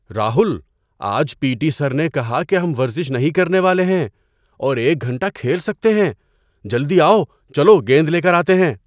راہل! آج P T sir نے کہا کہ ہم ورزش نہیں کرنے والے ہیں اور ایک گھنٹہ کھیل سکتے ہیں! جلدی آؤ، چلو گیند لے کر آتے ہیں!